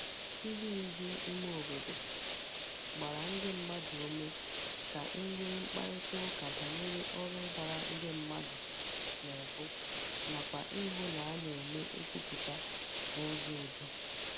Ndi ndu ime obodo gbara ndi mmadu ume ka e nwee mkparita uka banyere órú dara ndi mmadu n'ubu nakwa ihu na a na-eme nkwuputa n'uzo udo.